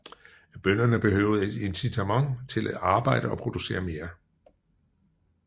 Bønderne behøvede et incitament til at arbejde og producere mere